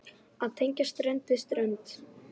Að tengja strönd við strönd.